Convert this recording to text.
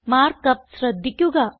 mark up ശ്രദ്ധിക്കുക